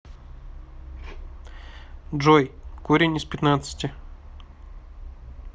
джой корень из пятнадцати